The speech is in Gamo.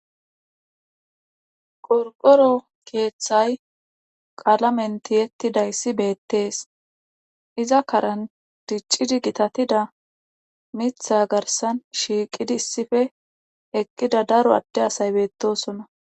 qorqoro keeththay qaalamenti yettidayssi beettees iza karan diccidi gitatida mitha garsan shiiqidi issife eqqida daro adde asay beettosona